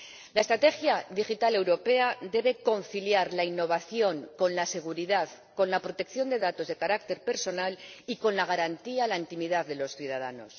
La estrategia digital europea debe conciliar la innovación con la seguridad, con la protección de datos de carácter personal y con la garantía a la intimidad de los ciudadanos.